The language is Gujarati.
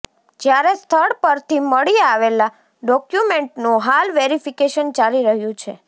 જ્યારે સ્થળ પરથી મળી આવેલાં ડોક્યુમેન્ટનું હાલ વેરિફીકેશન ચાલી રહ્યું છે